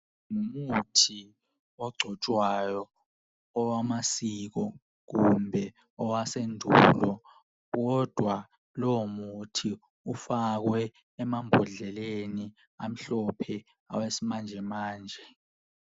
Umuthi ogcotshwayo owamasiko kumbe owasendulo kodwa lowo muthi ufakwe emambhodleleni amhlophe awesimanjemanje.